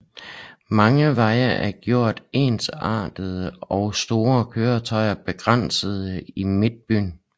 Mange veje er gjort ensrettede og store køretøjer begrænses i midtbyen